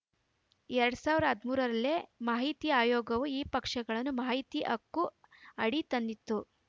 ಎರಡ್ ಸಾವಿರದ ಹದಿಮೂರ ರಲ್ಲೇ ಮಾಹಿತಿ ಆಯೋಗವು ಈ ಪಕ್ಷಗಳನ್ನು ಮಾಹಿತಿ ಹಕ್ಕು ಅಡಿ ತಂದಿತ್ತು